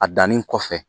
A dannin kɔfɛ